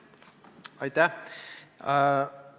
Aitäh!